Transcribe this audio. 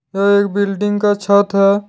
यह एक बिल्डिंग का छत है।